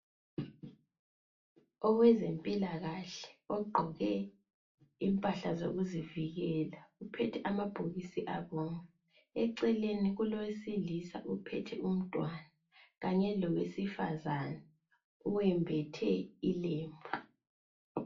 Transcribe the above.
Owezempilakahle ogqoke impahla zokuzivikela uphethe amabhokisi abomvu. Eceleni kulowesilisa ophethe umntwana kanye lowesifazane owembethe ilembu.